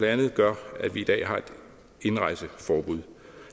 andet gør at vi i dag har et indrejseforbud